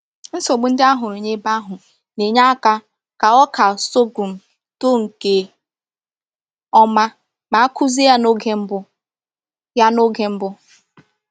Nsogbu ndị a hụrụ n’ebe ahụ na-enye aka ka ọka sorghum too nke ọma ma a kụzie ya n’oge mbụ. ya n’oge mbụ.